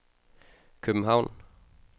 København